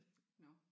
Nåh